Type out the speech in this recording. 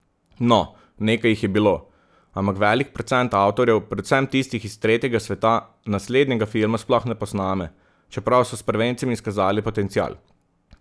No, nekaj jih je bilo, ampak velik procent avtorjev, predvsem tistih iz tretjega sveta, naslednjega filma sploh ne posname, čeprav so s prvencem izkazali potencial.